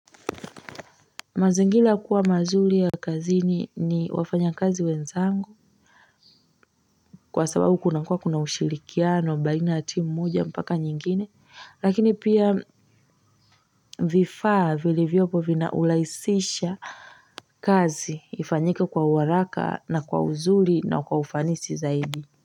Mazingira kuwa mazuri ya kazini ni wafanya kazi wenzangu kwa sababu kuna kuwa kuna ushirikiano baina ya timu moja mpaka nyingine lakini pia vifaa vilivyopo vinaulahisisha kazi ifanyika kwa uharaka na kwa uzuri na kwa ufanisi zaidi.